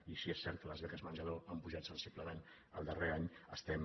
i si és cert que les beques menjador han pujat sensiblement el darrer any estem